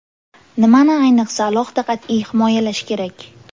Nimani ayniqsa alohida qat’iy himoyalash kerak?